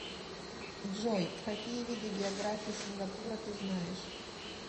джой какие виды география сингапура ты знаешь